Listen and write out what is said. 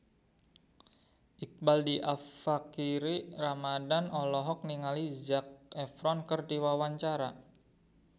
Iqbaal Dhiafakhri Ramadhan olohok ningali Zac Efron keur diwawancara